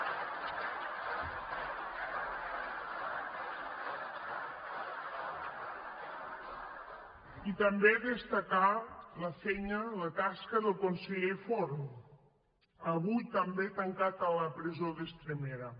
i també destacar la feina la tasca del conseller forn avui també tancat a la presó d’estremera